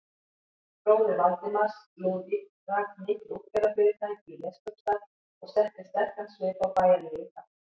Bróðir Valdimars, Lúðvík, rak mikið útgerðarfyrirtæki í Neskaupsstað og setti sterkan svip á bæjarlífið þar.